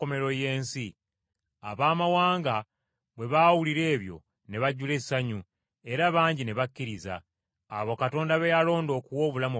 Abaamawanga bwe baawulira ebyo ne bajjula essanyu; era bangi ne bakkiriza, abo Katonda be yalonda okuwa obulamu obutaggwaawo.